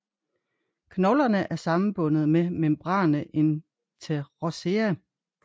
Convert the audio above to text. Knoglerne er sammenbundet med membrana interossea